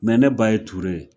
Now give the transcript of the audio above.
ne ba ye Ture ye